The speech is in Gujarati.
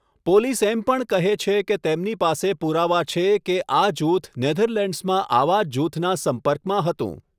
પોલીસ એમ પણ કહે છે કે તેમની પાસે પુરાવા છે કે આ જૂથ નેધરલેન્ડ્સમાં આવા જ જૂથના સંપર્કમાં હતું.